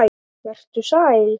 Vertu sæl!